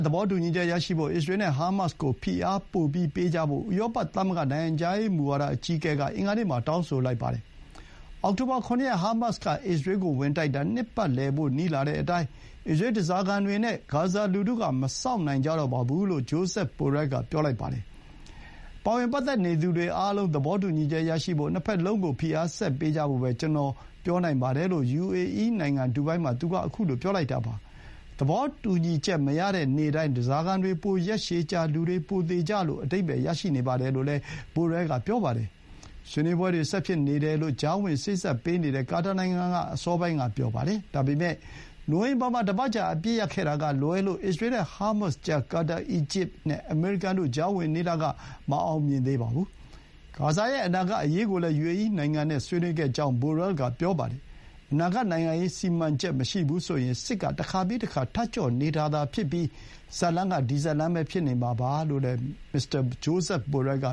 သဘောတူညီချက်ရဖို့ အစ္စရေးနဲ့ ဟာမတ်စ်ကို ဖိအားပိုပေးကြဖို့ ဥရောပသမဂ္ဂ နိုင်ငံခြားရေးမူဝါဒအကြီးအကဲက အင်္ဂါနေ့မှာ တောင်းဆိုလိုက်ပါတယ်။ အောက်တိုဘာ ၇ ရက် ဟာမတ်စ်က အစ္စရေးကိုဝင်တိုက်တာ နှစ်ပတ်လည်ဖို့ နီးလာတဲ့အတိုင်း အစ္စရေးဓားစာခံတွေ နဲ့ ဂါဇာလူထုက မစောင့်နိုင်ကြတော့ပါဘူး လို့ ဂျိုးဇက် ဘိုရဲလ်က ပြောပါတယ်။ ပတ်သက်နေသူတွေအားလုံးက သဘောတူညီချက်ရဖို့ နှစ်ဘက်လုံးကို ဖိအားဆက်ပေးကြဖို့ ပဲ ကျနော်ပြောနိုင်ပါတယ်လို့ ယူအေအီးနိုင်ငံ၊ ဒူဘိုင်းမှာ သူက ခုလို ပြောလိုက်တာပါ။ သဘောတူညီချက် မရတဲ့ နေ့တိုင်း၊ ဓားစာခံတွေ ပိုရက်ရှည်ကြာ လူတွေ ပိုသေကြလို့ အဓိပ္ပါယ် ရတယ်လို့လည်း ဘိုရဲလ်က ဆိုပါတယ်။ ဆွေးနွေးပွဲတွေ ဆက်ဖြစ်နေတယ်လို့ ကြားဝင်စေ့စပ်ပေးနေတဲ့ ကာတာနိုင်ငံက အစောပိုင်းက ပြောပါတယ်။ ဒါပေမဲ့ နိုဝင်ဘာမှာ တပတ်ကြာ အပစ်ရပ်ခဲ့တာကလွဲလို့ အစ္စရေးနဲ့ ဟာမတ်စ်ကြား ကာတာ၊ အီဂျစ်နဲ့အမေရိကန်တို့ ကြားဝင်နေတာက မအောင်မြင်သေးပါဘူး။ ဂါဇာရဲ့ အနာဂတ်အရေးကိုလည်း ယူအေအီးနိုင်ငံနဲ့ ဆွေးနွေးခဲ့ကြောင်း ဘိုရဲလ်က ပြောပါတယ်။ အနာဂတ်နိုင်ငံရေး စီမံချက်မရှိဘူးဆိုရင် စစ်က တခါပြီးတခါ ထပ်ကြော့နေတာသာဖြစ်ပြီး ဇာတ်လမ်းက ဒီဇာတ်လမ်းပဲ ဖြစ်နေမှာပါလို့လည်း မစ္စတာ ဂျိုးဇက် ဘိုရဲလ်က